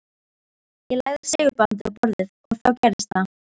Ég lagði segulbandið á borðið. og þá gerðist það.